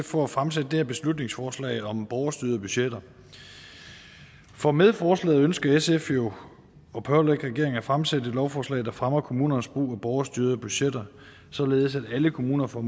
for at fremsætte det her beslutningsforslag om borgerstyrede budgetter for med forslaget ønsker sf jo at pålægge regeringen at fremsætte et lovforslag der fremmer kommunernes brug af borgerstyrede budgetter således at alle kommuner får